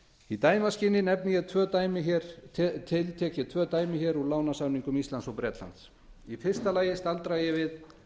í dæmaskyni nefni ég tvö ákvæði úr lánasamningnum milli íslands og bretlands í fyrsta lagi staldra ég við